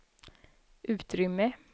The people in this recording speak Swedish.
utrymme